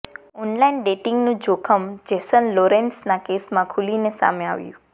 online ડેટિંગનું જોખમ Jason લોરેંસના કેસમાં ખૂલીને સામે આવ્યું